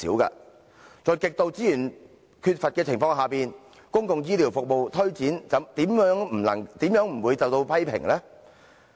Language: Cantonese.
在資源極度缺乏的情況下，公共醫療服務的推展又豈會不受批評呢？